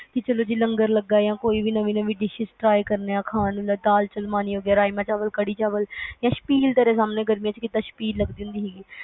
ਕਿ ਚਲੋ ਜੀ ਜੀ ਲੰਗਰ ਲੱਗਾ ਆ ਕੋਈ ਵੀ ਨਵੀ ਨਵੀ dishes try ਕਰਦੇ ਆ ਖਾਣ ਨੂੰ ਜਿਵੇ ਦਲ ਰਾਜਮਾ ਚਾਵਲ, ਕੜੀ ਚਾਵਲ, ਸ਼ਬੀਲ ਗਰਮੀਆਂ ਚ ਸ਼ਬੀਲ ਲੱਗਦੀ ਹੁੰਦੀ ਸੀ